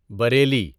Bareilly